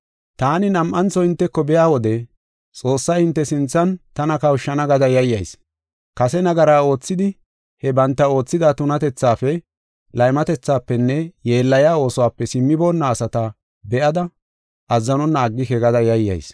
Taani nam7antho hinteko biya wode Xoossay hinte sinthan tana kawushana gada yayyayis. Kase nagara oothidi he banta oothida tunatethaafe, laymatethafenne yeellayiya oosuwape simmiboonna asata be7ada azzanonna aggike gada yayyayis.